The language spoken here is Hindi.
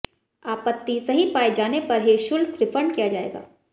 आपत्ति सही पाए जाने पर ही शुल्क रिफंड किया जाएगा